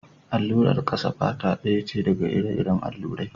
Allurar ƙasan fata ɗaya ce daga ire-iren allurai.